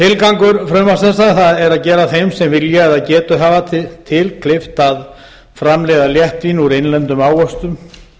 tilgangur frumvarps þessa er að gera þeim sem vilja og getu hafa til kleift að framleiða létt vín úr innlendum ávöxtum